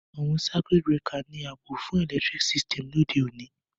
Àwon circuit breaker ni oun àbò fun electric system òde ọ̀ní